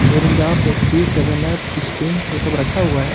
Mirinda Pepsi seven up Sting वो सब रखा हुआ है।